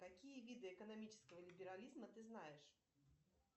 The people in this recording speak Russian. какие виды экономического либерализма ты знаешь